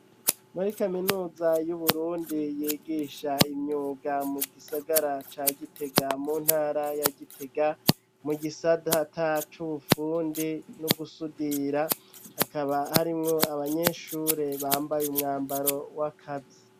Muri kaminuza yu Burundi yigisha imyuga mu gisagara ca Gitega mu ntara ya Gitega mu gisata c'ubufundi no gusudira hakaba harimwo abanyeshure bambaye umwambaro w'akazi.